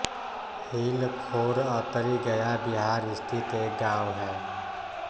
हिलखोर अतरी गया बिहार स्थित एक गाँव है